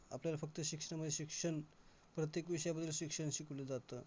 New Kalwa high school आहे .माझ्या शाळेत शाळा कळव्याला आहे.